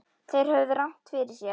Þeir höfðu rangt fyrir sér.